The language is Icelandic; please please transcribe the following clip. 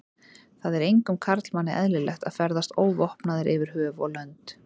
Það er engum karlmanni eðlilegt að ferðast óvopnaður yfir höf og lönd.